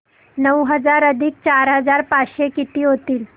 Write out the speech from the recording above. नऊ हजार अधिक चार हजार पाचशे किती होतील